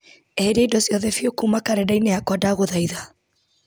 eheria indo ciothe biũ kuma karenda-inĩ yakwa ndagũthaitha